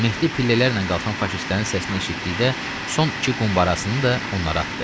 Mehdi pillələrlə qalxan faşistlərin səsini eşitdikdə son iki qumbarasını da onlara atdı.